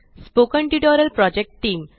spoken tutorial project team